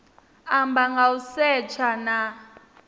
amba nga u setsha na